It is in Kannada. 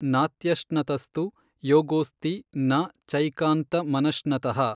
ನಾತ್ಯಶ್ನತಸ್ತು ಯೋಗೋಽಸ್ತಿ ನ ಚೈಕಾನ್ತಮನಶ್ನತಃ।